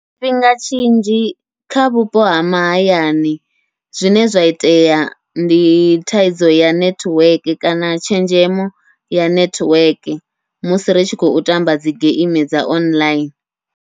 Tshifhinga tshinzhi kha vhupo ha mahayani, zwine zwa itea ndi thaidzo ya nethiweke kana tshenzhemo ya nethiweke, musi ri tshi khou tamba dzi geimi dza online.